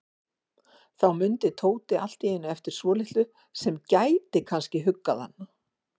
Þá mundi Tóti allt í einu eftir svolitlu sem gæti kannski huggað hann.